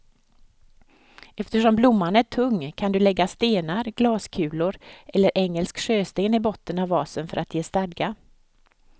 Eftersom blomman är tung kan du lägga stenar, glaskulor eller engelsk sjösten i botten av vasen för att ge stadga.